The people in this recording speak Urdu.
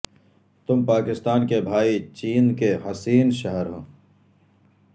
تم پاکستان کے بھائی چین کے حسین شہر ہو